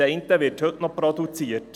Das eine wird heute noch produziert.